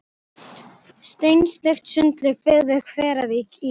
Steinsteypt sundlaug byggð við Hveravík í